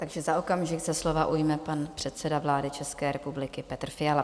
Takže za okamžik se slova ujme pan předseda vlády České republiky Petr Fiala.